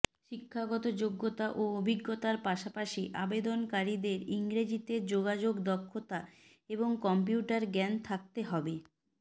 শিক্ষাগত যোগ্যতা ও অভিজ্ঞতার পাশাপাশি আবেদনকারীদের ইংরেজিতে যোগাযোগ দক্ষতা এবং কম্পিউটার জ্ঞান থাকতে হবে